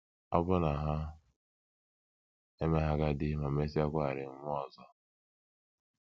Ọ̀ bụ na ha emeghị agadi ma mesịakwarị nwụọ ọzọ? ’